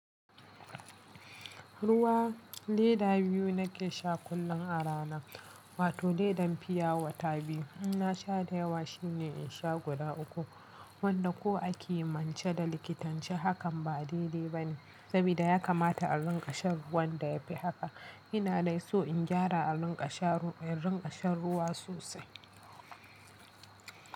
Ruwa leda biyu nake sha kullum a rana, wato ledan fiya wata biyu. In na sha da yawa shine in sha guda uku, wanda ko a kimiyyance da likitanci hakan ba a daidai ba ne saboda ya kamata a rinƙa shan ruwan da ya fi haka. Ina dai so in gyara a rinƙa shan ruwa sosai.